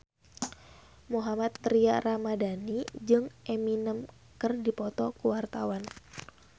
Mohammad Tria Ramadhani jeung Eminem keur dipoto ku wartawan